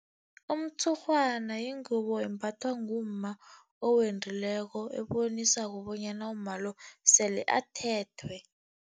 Umtshurhwana yingubo embathwa ngumma owendileko, ebonisako bonyana umma lo sele athethwe.